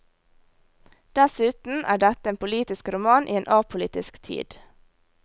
Dessuten er dette en politisk roman i en apolitisk tid.